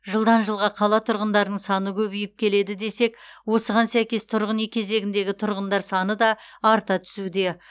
жылдан жылға қала тұрғындарының саны көбейіп келеді десек осыған сәйкес тұрғын үй кезегіндегі тұрғындар саны да арта түсуде